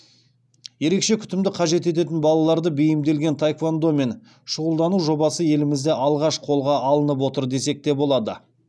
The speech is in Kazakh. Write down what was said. ерекше күтімді қажет ететін балаларды бейімделген таеквондомен шұғылдану жобасы елімізде алғаш қолға алынып отыр десек те болады